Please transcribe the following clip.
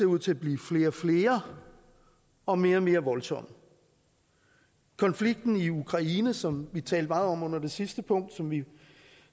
ud til at blive flere og flere og mere og mere voldsomme konflikten i ukraine som vi talte meget om under det sidste punkt og som vi